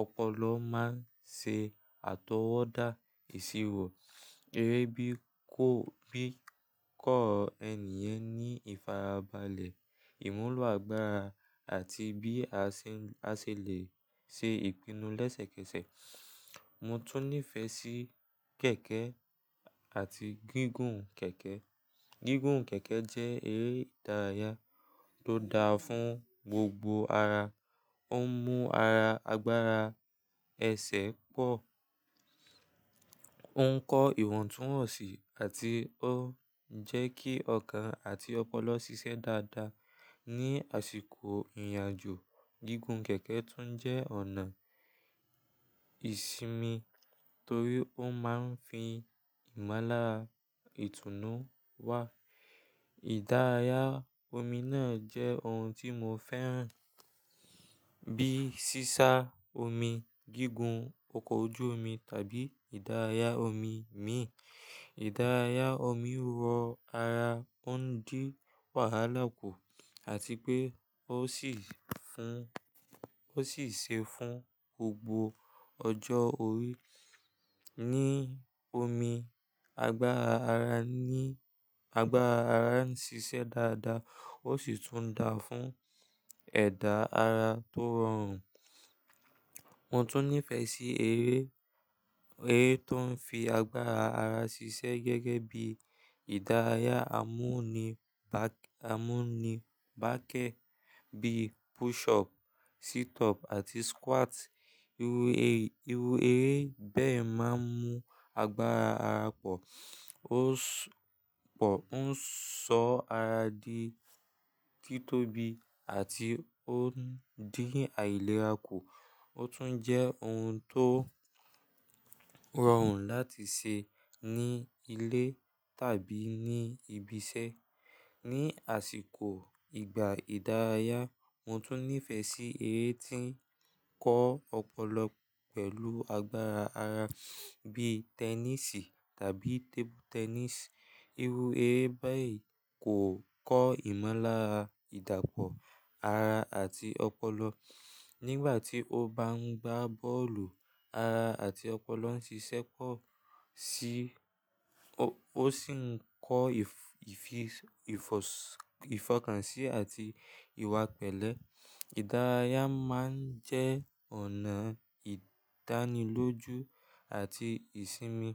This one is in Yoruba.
ọpọlọ máa ń ṣe àtọwọ́dá ìṣirò. Eré bí kọ́, bi ko ènì yẹn ní ìfarabalẹ̀, ìmúlò àgbàrá àti bí a ṣè n, a se lè ṣe ìpinnu lẹ́sẹ̀kẹsẹ̀. Mo tún nífẹ̀ẹ́ sí kẹ̀kẹ́ àti gígùn kẹ̀kẹ́. Gígùn kẹ̀kẹ́ jẹ́ eré ìdárayá tó dáa fún gbogbo ara. Ó ń mú ara, agbára ẹsẹ̀ pọ̀, ó ń kọ́ ìwọ̀ntúnwọ̀nsì àti ó ń jẹ́ kí ọkàn àti ọpọlọ ṣiṣẹ́ dáadáa. Ni àsìkò ìrìnàjò, gígùn kẹ̀kẹ́ tún jẹ́ ọ̀nà ìsimi torí ó máa ń fi ìmúlára ìtùnú wá. Ìdárayá omi náà jẹ́ ohun tí mo fẹ́ràn bíi sísá omi, gígùn oko ojú omi tàbí ìdárayá omi míì. Ìdárayá omi rọ ara, ó ń dín wàhálà kù àti pé ó sì fún, o si se fún gbogbo ọjọ́ orí. Ni omi, agbára ara ni, agbára ara ń ṣiṣẹ́ dáadáa ó sì tún dáa fún ẹ̀dà ara tó rọrùn. Mo tún nífẹ̀ẹ́ sí eré, eré tó ń fi agbára ara ṣiṣẹ́ gẹ́gẹ́ bíi ìdárayá, amunibak, amúnibákẹ́ bíi push up, sit up àti squat. Eru èyí irú eré bẹ́ẹ̀ máa ń mú agbára ara pọ̀, ó ń ṣ-- po, o n so ara di kítóbi àti ó ń dín àìlera kù. Ó tún jẹ́ ohun tó rọrùn láti ṣe ní ilé tàbí ní ibi iṣẹ́. Ni àsìkò ìgbà ìdárayá, mo tún nífẹ̀ẹ́ sí eré tí ń kọ́ ọpọlọ pẹ̀lú agbára ara bíi tẹnísì tàbí tébù-tẹ́nìsì. Irú eré bẹ́ẹ̀ kò kọ́ ìmúláradàpọ̀ ara àti ọpọlọ. Nígbà tí o bá ń gbá bọ́ọ̀lù, ara àti ọpọlọ ń ṣiṣẹ́ pọ̀ sí i, o, ó sì ń kọ́ i f--, ifi ìfọkànsí àti ìwà pẹ̀lẹ́. Ìdárayá máa ń jẹ́ ọ̀nà ìdánilójú àti ìsimi.